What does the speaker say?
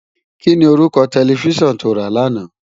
Kini órúkò tèlèfisán tó rá làná?